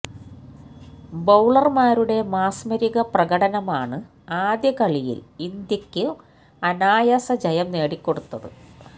ബൌളര്മാരുടെ മാസ്മരിക പ്രകടനമാണ് ആദ്യ കളിയില് ഇന്ത്യക്കു അനായാസ ജയം നേടിക്കൊടുത്തത്